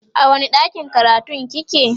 a wani ɗakin karatun kike?